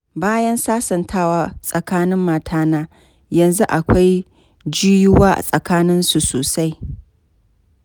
Bayan sasantawa tsakanin matana, yanzu akwai jiyuwa a tsakaninsu sosai.